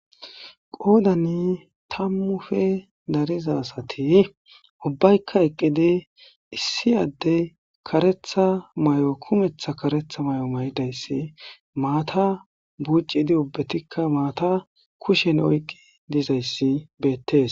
qoodani tammufe dariza asati ubbaykka eqqidi issi adde karetha may7o kumetha karetha may7o maydayssi maata buuccidi ubbetikka maata kushen oyqqi dizayssi beettes